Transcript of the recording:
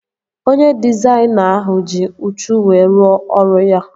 Onye dịzaịna ahụ ji uchu wee ruo ọrụ ya